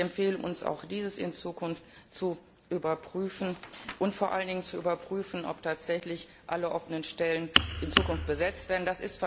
Ich empfehle uns, auch dies in Zukunft zu überprüfen und vor allen Dingen zu überprüfen, ob tatsächlich alle offenen Stellen in Zukunft besetzt werden.